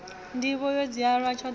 nḓivho yo dziaho tshoṱhe ya